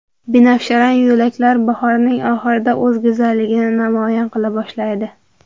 Binafsharang yo‘laklar bahorning oxirida o‘z go‘zalligini namoyon qila boshlaydi.